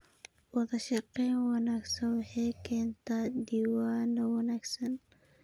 Wadashaqeyn wanaagsan waxay keentaa diiwaanno wanaagsan.